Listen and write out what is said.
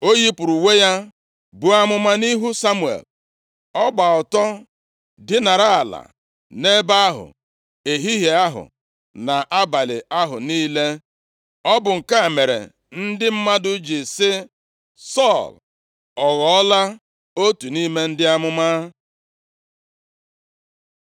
O yipụrụ uwe ya buo amụma nʼihu Samuel. Ọ gba ọtọ dinara ala nʼebe ahụ ehihie ahụ, na abalị ahụ niile. Ọ bụ nke a mere ndị mmadụ ji sị, “Sọl ọ ghọọla otu nʼime ndị amụma?”